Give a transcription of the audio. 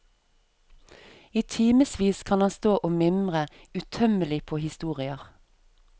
I timevis kan han stå og mimre, utømmelig på historier.